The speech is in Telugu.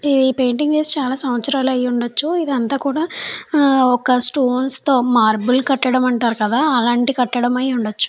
నీ పెయింటింగ్ చేసి చాలా సంవత్సరాలు అయ్యి ఉండొచ్చు. ఇదంతా కూడా ఒక స్టోన్స్ తో మార్బుల్ కట్టడం అంటారు కదా అలాంటి కట్టడమై ఉండొచ్చు.